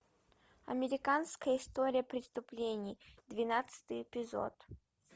американская история преступлений двенадцатый эпизод